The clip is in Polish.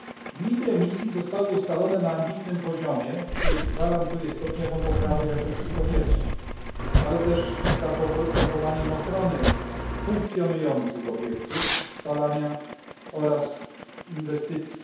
Limity emisji zostały ustalone na ambitnym poziomie, który gwarantuje stopniową poprawę jakości powietrza, ale też zachowanie ochrony funkcjonujących obiektów spalania oraz inwestycji.